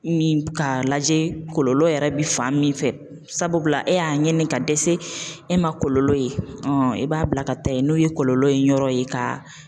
Min k'a lajɛ kɔlɔlɔ yɛrɛ bi fan min fɛ, sabubila e y'a ɲini ka dɛsɛ e ma kɔlɔlɔ ye i b'a bila ka taa yen n'o ye kɔlɔlɔ in yɔrɔ ye ka